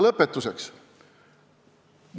Lõpetuseks.